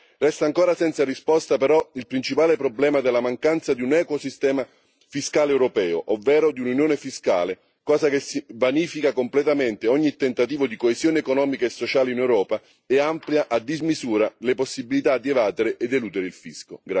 Resta ancora senza risposta, però, il principale problema della mancanza di un equo sistema fiscale europeo, ovvero di un'unione fiscale, cosa che vanifica completamente ogni tentativo di coesione economica e sociale in Europa e amplia a dismisura le possibilità di evadere ed eludere il fisco.